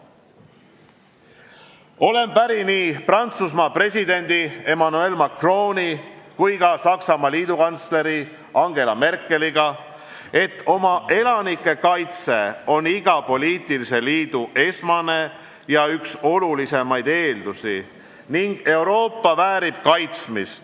Olen päri nii Prantsusmaa presidendi Emmanuel Macroni kui ka Saksamaa liidukantsleri Angela Merkeliga, et oma elanike kaitse on iga poliitilise liidu esmane ja üks olulisimaid eeldusi ning Euroopa väärib kaitsmist.